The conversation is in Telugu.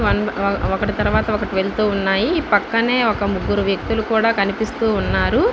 ఒకటి తర్వాత ఒకటి వెళ్తూ ఉన్నాయి పక్కనే ఒక ముగ్గురు వ్యక్తులు కూడ కనిపిస్తూ వున్నారు.